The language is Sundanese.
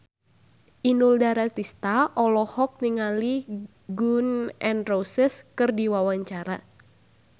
Inul Daratista olohok ningali Gun N Roses keur diwawancara